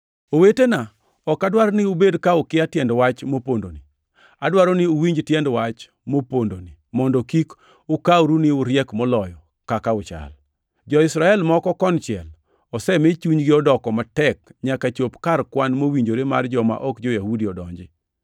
Owetena ok adwar ni ubed ka ukia tiend wach mopondoni, adwaro ni uwinj tiend wach mopondoni mondo kik ukawru ni uriek moloyo kaka uchal: Jo-Israel moko konchiel osemi chunygi odoko matek nyaka chop kar kwan mowinjore mar joma ok jo-Yahudi odonji.